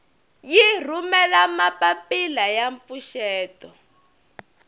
yi rhumela mapapila ya mpfuxeto